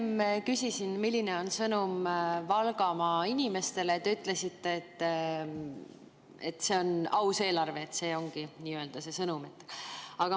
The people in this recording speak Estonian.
Ma enne küsisin, milline on sõnum Valgamaa inimestele, ja te ütlesite, et see on aus eelarve ja see ongi sõnum.